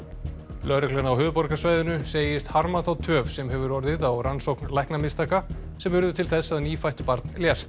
lögreglan á höfuðborgarsvæðinu segist harma þá töf sem hefur orðið á rannsókn læknamistaka sem urðu til þess að nýfætt barn lést